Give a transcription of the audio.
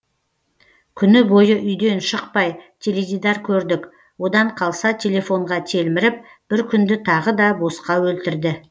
күні бойы үйден шықпай теледидар көрдік одан қалса телефонға телміріп бір күнді тағы да босқа өлтірді